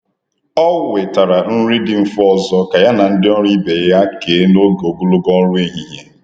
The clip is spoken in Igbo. Ọ wetara nri dị mfe ọzọ ka ya na ndị ọrụ ibe ya kee n’oge ogologo ọrụ ehihie.